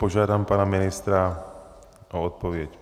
Požádám pana ministra o odpověď.